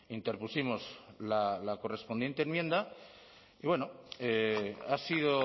interpusimos la correspondiente enmienda y bueno ha sido